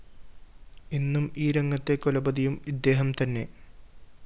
ഇന്നും ഈ രംഗത്തെ കുലപതിയും ഇദ്ദേഹം തന്നെ